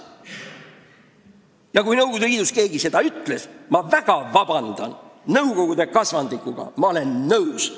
Ja kui Nõukogude Liidus keegi seda ütles, siis ma palun väga vabandust, aga ma olen nõukogude kasvandikuga nõus.